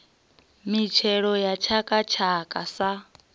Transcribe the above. mitshelo ya tshaka tshaka sa